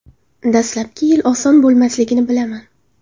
Dastlabki yil oson bo‘lmasligini bilaman.